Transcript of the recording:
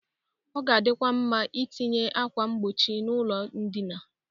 Ọ ga-adịkwa nma etinye akwa mgbochi n'ụlọ ndịna.